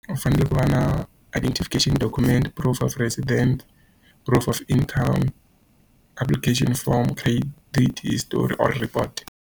U fanele ku va na identification document, proof of resident, proof of income, application form, credit history or report.